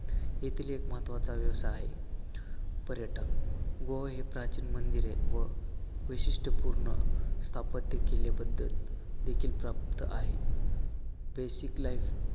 येथील एक महत्वाचा व्यवसाय आहे पर्यटन. गोवा हे प्राचीन मंदिर आहे व वैशिष्टपूर्ण स्थापत्य केल्याबद्दल देखील प्राप्त आहे. basic life